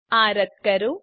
આ રદ્દ કરો